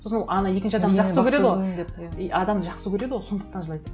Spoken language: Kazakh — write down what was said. сосын ана екінші и адамды жақсы көреді ғой сондықтан жылайды